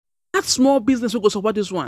I go add small um business wey go support dis one.